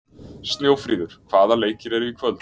Snjófríður, hvaða leikir eru í kvöld?